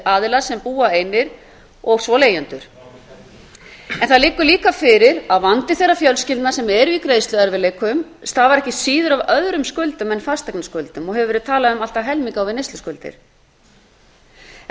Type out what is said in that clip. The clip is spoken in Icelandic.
aðilar sem búa einir og svo leigjendur en það liggur líka fyrir að vandi þeirra fjölskyldna sem eru í greiðsluerfiðleikum stafar ekki síður af öðrum skuldum en fasteignaskuldum og hefur verið talað um allt að helming á við neysluskuldir